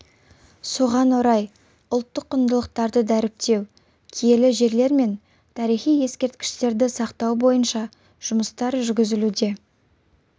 соған орай ұлттық құндылықтарды дәріптеу киелі жерлер мен тарихи ескерткіштерді сақтау бойынша жұмыстар жүргізілуде